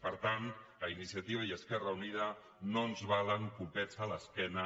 per tant a iniciativa i a esquerra unida no ens valen copets a l’esquena